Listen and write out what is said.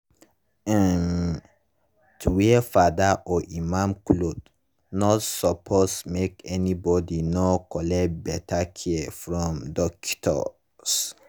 hmn-- to wear fada or imam cloth nor suppos make any bodi nor collect beta care from dockitos.